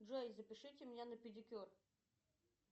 джой запишите меня на педикюр